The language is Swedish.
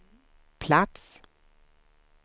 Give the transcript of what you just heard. plats